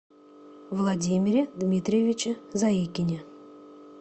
владимире дмитриевиче заикине